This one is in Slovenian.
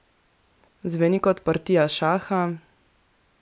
Zveni kot partija šaha?